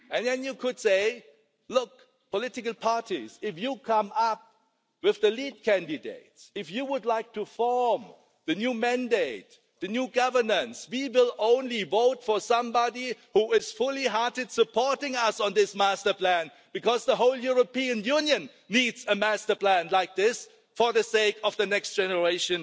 Then you could say, look, political parties, if you come up with the lead candidates, if you would like to form the new mandate, the new governance, we will only vote for somebody who is full-heartedly supporting us on this master plan because the whole European Union needs a master plan like this for the sake of the next generation.